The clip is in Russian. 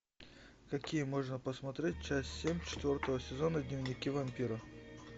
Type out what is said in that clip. какие можно посмотреть часть семь четвертого сезона дневники вампира